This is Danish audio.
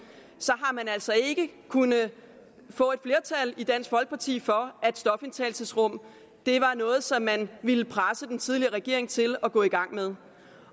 har man altså ikke kunnet få et flertal i dansk folkeparti for at stofindtagelsesrum var noget som man ville presse den tidligere regering til at gå i gang med